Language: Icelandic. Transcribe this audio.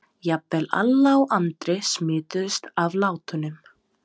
Jafnvel Alla og Andri smituðust af látunum.